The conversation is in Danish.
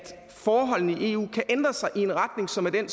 forholdene i eu kan ændre sig i en retning som er den